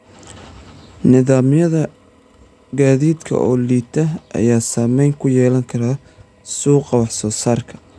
Nidaamyada gaadiidka oo liita ayaa saameyn ku yeelan kara suuqa wax soo saarka.